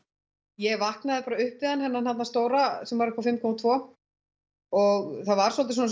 ég vaknaði bara upp við hann þennan þarna stóra sem var uppá fimm komma tvö og það var svolítið svona